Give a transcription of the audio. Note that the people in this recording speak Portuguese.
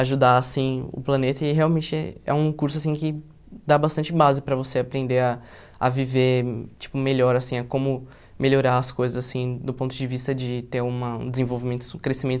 ajudar assim o planeta e realmente é um curso assim que dá bastante base para você aprender a a viver tipo melhor assim, a como melhorar as coisas assim do ponto de vista de ter uma um desenvolvimento crescimento